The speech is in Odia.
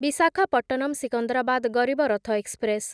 ବିଶାଖାପଟ୍ଟନମ ସିକନ୍ଦରାବାଦ ଗରିବ ରଥ ଏକ୍ସପ୍ରେସ୍